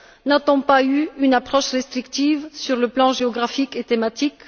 N'a t on pas eu une approche restrictive sur le plan géographique et thématique?